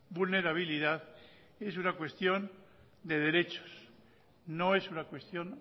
vulnerabilidad es una cuestión de derechos no es una cuestión